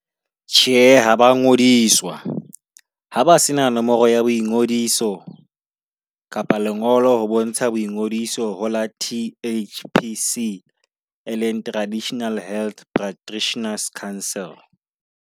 Tjhe, ha ba ngodiswa ha ba se na nomoro ya boingodiso. Kapa lengolo ho bontsha boingodiso hora T_H_P_C e leng Traditional Health Practitioners Council.